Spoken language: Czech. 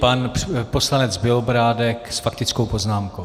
Pan poslanec Bělobrádek s faktickou poznámkou.